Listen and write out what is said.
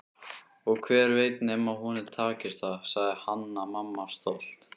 Og hver veit nema honum takist það, sagði Hanna-Mamma stolt.